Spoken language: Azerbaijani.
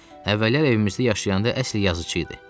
Əvvəllər evimizdə yaşayanda əsl yazışı idi.